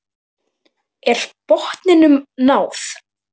Er botninum náð?